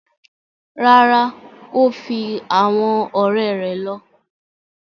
Rárá, o fi awọn ọrẹ rẹ lọ